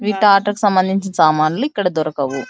ఇవి ట్రాక్టర్ కి సంబంధించిన సామాన్లు ఇక్కడ దొరకవు.